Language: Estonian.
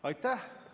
Aitäh!